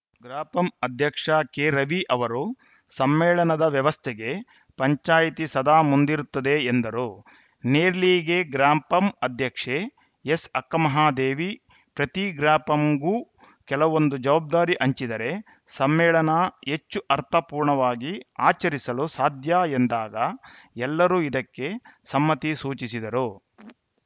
ಗ್ರಾಪಂ ಅಧ್ಯಕ್ಷ ಕೆರವಿ ಅವರು ಸಮ್ಮೇಳನದ ವ್ಯವಸ್ಥೆಗೆ ಪಂಚಾಯಿತಿ ಸದಾ ಮುಂದಿರುತ್ತದೆ ಎಂದರು ನೇರ್ಲಿಗೆ ಗ್ರಾಪಂ ಅಧ್ಯಕ್ಷೆ ಎಸ್‌ಅಕ್ಕಮಹಾದೇವಿ ಪ್ರತಿ ಗ್ರಾಪಂಗೂ ಕೆಲವೊಂದು ಜವಾಬ್ಧಾರಿ ಹಂಚಿದರೆ ಸಮ್ಮೇಳನ ಹೆಚ್ಚು ಅರ್ಥಪೂರ್ಣವಾಗಿ ಆಚರಿಸಲು ಸಾಧ್ಯ ಎಂದಾಗ ಎಲ್ಲರೂ ಇದಕ್ಕೆ ಸಮ್ಮತಿ ಸೂಚಿಸಿದರು